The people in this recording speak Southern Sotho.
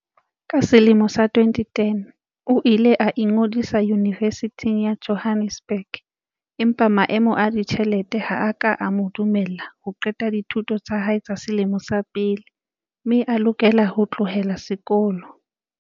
Ka selemo sa 2010, o ile a ingodisa Yunivesithing ya Jo hannesburg empa maemo a ditjhelete ha a ka a mo dumella ho qeta dithuto tsa hae tsa selemo sa pele mme a lokela ho tlohela sekolo.